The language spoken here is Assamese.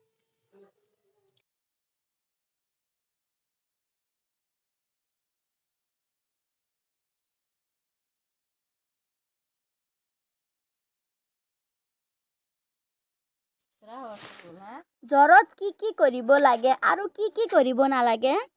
জ্বৰত কি কি কৰিব লাগে আৰু কি কি কৰিব নালাগে?